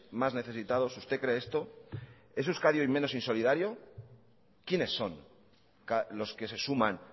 más necesitados usted cree esto es euskadi hoy menos insolidario quiénes son los que se suman